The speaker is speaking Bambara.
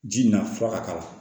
Ji na fura ka k'a la